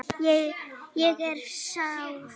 Ég er sár.